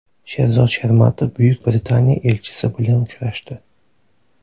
Sherzod Shermatov Buyuk Britaniya elchisi bilan uchrashdi.